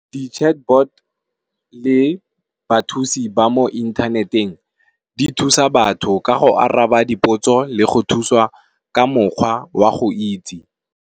Di chatbot, le bathusi ba mo inthaneteng di thusa batho ka go araba dipotso le go thusiwa ka mokgwa wa go itse.